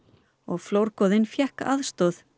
flórgoði fékk aðstoð